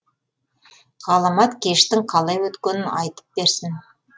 ғаламат кештің қалай өткенін айтып берсін